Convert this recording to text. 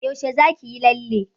Yaushe za ki yi lalle?